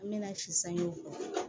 An mɛna sisan o